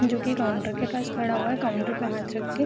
जो कि काउंटर के पास खड़ा हुआ है काउंटर पे हाथ रख के ।